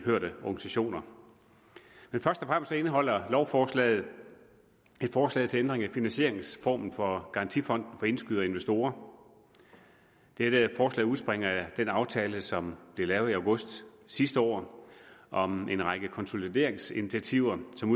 hørte organisationer først og fremmest indeholder lovforslaget et forslag til ændring af finansieringsformen for garantifonden for indskydere og investorer dette forslag udspringer af den aftale som blev lavet i august sidste år om en række konsolideringsinitiativer som